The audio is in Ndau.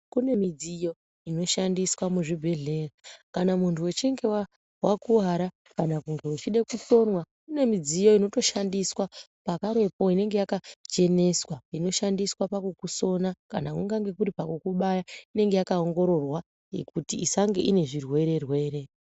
Kune midziyo inoshandiswa muchibhehlera kana muntu uchinge wakuvara kana muntu uchide kusonwa, kune midziyo inotoshandiswa pakarepo inenge yakachenesa inoshandiswe pakukusona kana pakukubaya inenge yakaongororwa kuti isange inezvirwere rwere.